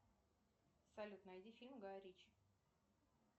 салют найди фильм гай ричи